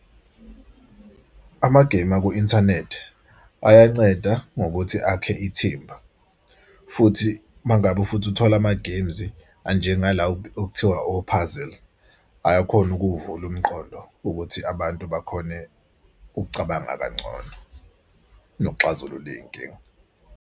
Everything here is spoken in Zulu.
Amagemu aku-inthanethi ayanceda ngokuthi akhe ithimba futhi uma ngabe futhi uthola amagemzi anjengala okuthiwa o-puzzle ayakhona ukuvula umqondo, ukuthi abantu bakhone ukucabanga kangcono nokuxazulula iy'nkinga.